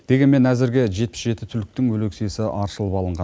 дегенмен әзірге жетпіс жеті түліктің өлексесі аршылып алынған